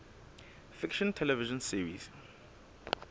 fiction television series